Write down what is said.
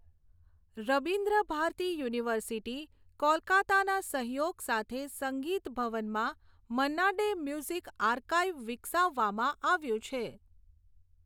Rabindra Bharati university, કોલકાતાના સહયોગ સાથે સંગીત ભવનમાં મન્ના ડે મ્યુઝિક આર્કાઇવ વિકસાવવામાં આવ્યું છે.